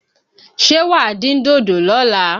Ṣé wàá dín dòdò lọ́la?